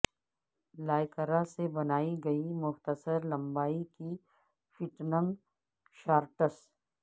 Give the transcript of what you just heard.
lycra سے بنائی گئی مختصر لمبائی کی فٹنگ شارٹس